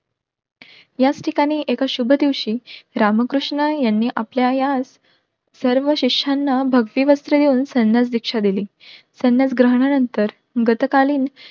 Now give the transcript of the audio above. याच ठिकाणी एक शुभ दिवशी रामकृष्ण यांनी आपल्या या सर्व शिष्यानं भगवी वस्त्र देऊन संन्यास दीक्षा दिली संन्यासग्रहणा नंतर गतकालीन